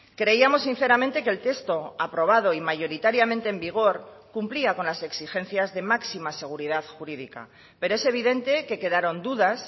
creíamos sinceramente que el texto aprobado y mayoritariamente en vigor cumplía con las exigencias de máxima seguridad jurídica pero es evidente que quedaron dudas